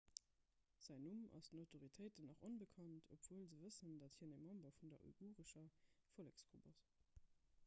säin numm ass den autoritéiten nach onbekannt obwuel se wëssen dat hien e member vun der uigurescher volleksgrupp ass